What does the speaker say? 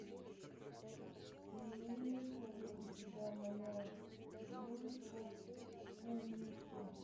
имеется ли у тебя моя девушка кумихо